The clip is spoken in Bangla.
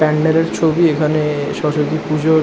প্যান্ডেল এর ছবি। এখানে-এ সরস্বতী পুজোর --